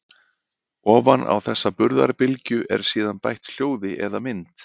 ofan á þessa burðarbylgju er síðan bætt hljóði eða mynd